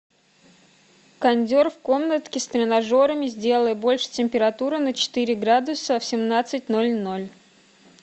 кондер в комнатке с тренажерами сделай больше температуру на четыре градуса в семнадцать ноль ноль